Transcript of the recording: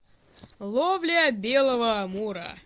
ловля белого амура